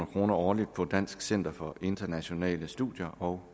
kroner årligt på dansk center for internationale studier og